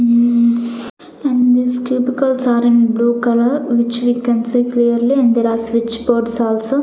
hm and this chemicals are in blue colour which we can see clearly and there are switch boards also.